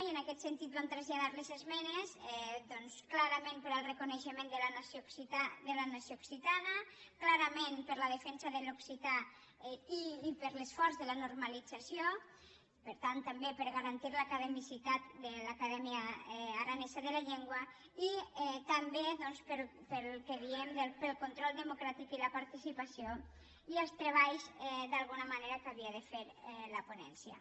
i en aquest sentit vam traslladar les esmenes doncs clarament pel reconeixement de la na·ció occitana clarament per la defensa de l’occità i per l’esforç de la normalització per tant també per garan·tir l’academicitat de l’acadèmia aranesa de la llen·gua i també doncs pel que diem pel control demo·cràtic i la participació i els treballs d’alguna manera que havia de fer la ponència